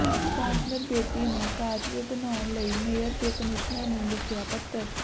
councillor Bedi ਨੇ causeway ਬਣਾਉਣ ਲਈ ਮੇਅਰ ਤੇ ਕਮਿਸ਼ਨਰ ਨੂੰ ਲਿਖਿਆ ਪੱਤਰ